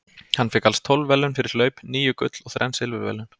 Hann fékk alls tólf verðlaun fyrir hlaup, níu gull og þrenn silfurverðlaun.